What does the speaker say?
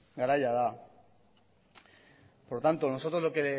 garaia da por lo tanto nosotros lo que